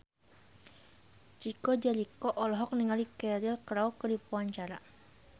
Chico Jericho olohok ningali Cheryl Crow keur diwawancara